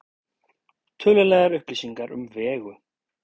Tölulegar upplýsingar um Vegu: